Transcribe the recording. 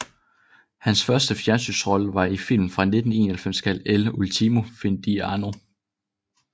Hans første fjernsynsrolle var i filmen fra 1991 kaldet El Último Fin de Año